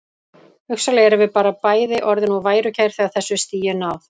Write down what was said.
Hugsanlega erum við bara bæði orðin of værukær þegar þessu stigi er náð.